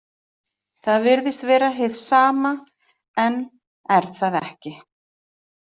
Það virðist vera hið sama en er það ekki.